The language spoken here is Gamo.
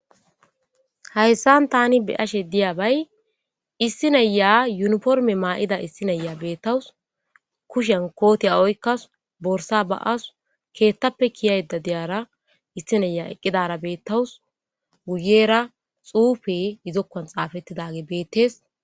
hayssan tani beyashe diyabay issi naiya yuniforime maa'ida issi naiya beettawus kushen kooti oyikawus borsa ba'us keettappe kiyayida diyara issi nayiya eqqidara beettawus guyera xuufe izi zokkon xaafettidage beettees